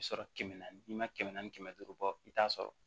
I bi sɔrɔ kɛmɛ naani n'i ma kɛmɛ naani duuru bɔ i t'a sɔrɔ